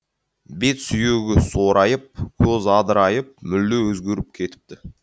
бет сүйегі сорайып көзі адырайып мүлде өзгеріп кетіпті